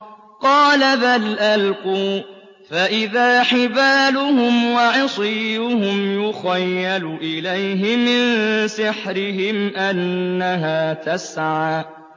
قَالَ بَلْ أَلْقُوا ۖ فَإِذَا حِبَالُهُمْ وَعِصِيُّهُمْ يُخَيَّلُ إِلَيْهِ مِن سِحْرِهِمْ أَنَّهَا تَسْعَىٰ